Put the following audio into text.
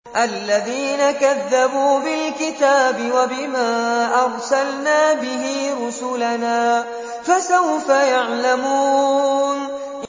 الَّذِينَ كَذَّبُوا بِالْكِتَابِ وَبِمَا أَرْسَلْنَا بِهِ رُسُلَنَا ۖ فَسَوْفَ يَعْلَمُونَ